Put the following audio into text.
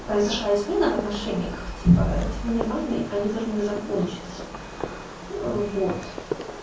произошла измена в отношениях типа это ненормальные они должны закончится вот